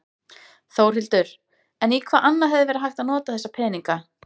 Þórhildur: En í hvað annað hefði verið hægt að nota þessa peninga?